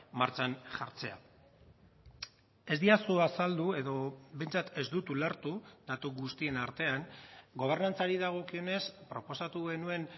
martxan jartzea ez didazu azaldu edo behintzat ez dut ulertu datu guztien artean gobernantzari dagokionez proposatu genuen